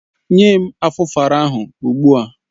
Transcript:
Nye m Afufara ahụ ogbu a!